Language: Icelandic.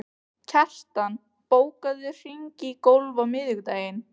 Kjartan, bókaðu hring í golf á miðvikudaginn.